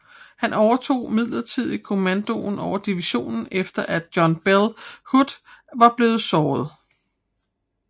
Han overtog midlertidig kommandoen over divisionen efter at John Bell Hood var blevet såret